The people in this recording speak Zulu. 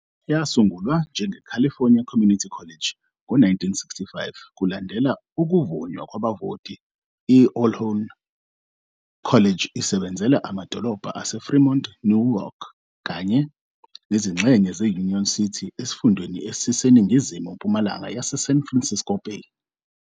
Yasungulwa njengeCalifornia Community College ngo-1965 kulandela ukuvunywa kwabavoti, i-Ohlone College isebenzela amadolobha aseFremont neNewark kanye nezingxenye ze-Union City esifundeni esiseningizimu-mpumalanga yeSan Francisco Bay.